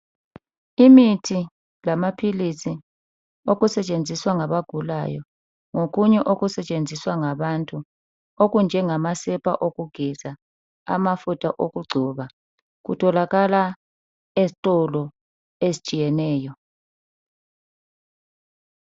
Imithi lamaphilisi okusetshenziswa ngabagulayo lokunye okusetshenziswa ngabantu okunjengamasepa okugeza lamafutha okugcoba kutholakala ezitolo ezitshiyeneyo.